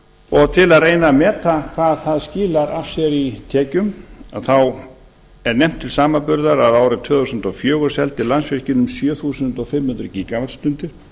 og til að reyna að meta hvað það skilar af sér í tekjum er nefnt til samanburðar að árið tvö þúsund og fjögur seldi landsvirkjun um sjö þúsund fimm hundruð gíga vattstundir